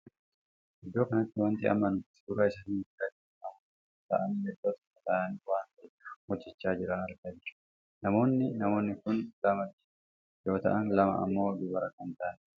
Iddoo kanatti wanti amma nuti suuraa isaanii argaa jirru namoota afur taa'aani iddoo tokko taa'anii waan tahee hojjechaa jiran argaa jirra. namaoonni namoonni kun lama dhiiraa yoo taa'an, lama ammoo dubara kan taa'aniidha.